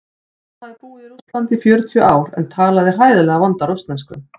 Hún hafði búið í Rússlandi í fjörutíu ár en talaði hræðilega vonda rússnesku.